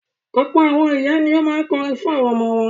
Ọ̀pọ̀ àwọn ìyá ni ó máa ń kọrin fún àwọn ọmọ wọn